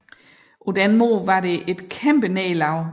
På den måde var det et kæmpe nederlag